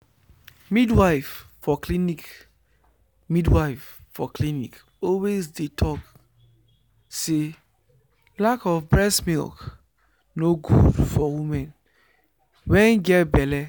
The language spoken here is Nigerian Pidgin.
midwife for clinic midwife for clinic always dey talk say lack of breast milk nor good for women wen get belle